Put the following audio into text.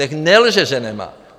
Nechť nelže, že nemá.